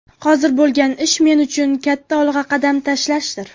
Hozir bo‘lgan ish men uchun katta olg‘a qadam tashlashdir”.